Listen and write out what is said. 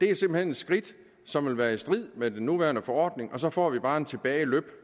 er simpelt hen et skridt som vil være i strid med den nuværende forordning og så får vi bare en tilbage løb